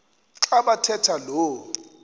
xa bathetha lo